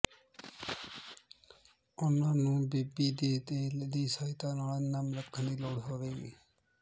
ਉਨ੍ਹਾਂ ਨੂੰ ਬੇਬੀ ਦੇ ਤੇਲ ਦੀ ਸਹਾਇਤਾ ਨਾਲ ਨਮ ਰੱਖਣ ਦੀ ਲੋੜ ਹੋਵੇਗੀ